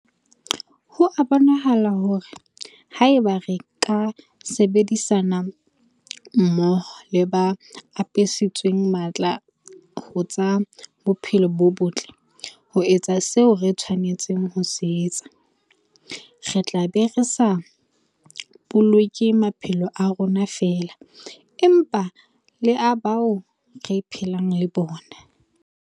Ho a bonahala hore haeba re ka sebedisana mmoho le ba apesitsweng matla ho tsa bophelo bo botle ho etsa seo re tshwanetseng ho se etsa, re tla be re sa boloke maphelo a rona feela, empa le a bao re phelang le bona.